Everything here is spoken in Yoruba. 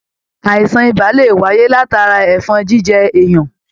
Àìsàn ibà lè wáyé látara ẹfọn jíjẹ èèyàn.